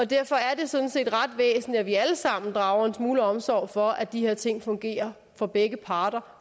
derfor er det sådan set ret væsentligt at vi alle sammen drager en smule omsorg for at de her ting fungerer for begge parter